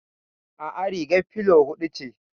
Aa, rigar filo hudu ce